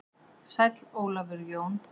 Sæll Ólafur Jón.